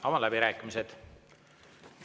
Avan läbirääkimised.